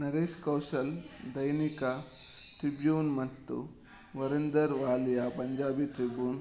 Naresh Kaushal Dainik Tribune ಮತ್ತು Varinder Walia Punjabi Tribune